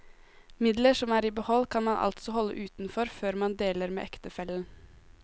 Midler som er i behold, kan man altså holde utenfor før man deler med ektefellen.